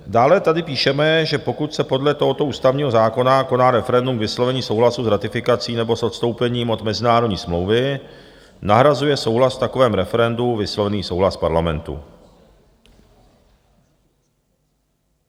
Dále tady píšeme, že pokud se podle tohoto ústavního zákona koná referendum k vyslovení souhlasu s ratifikací nebo s odstoupením od mezinárodní smlouvy, nahrazuje souhlas v takovém referendu vyslovený souhlas Parlamentu.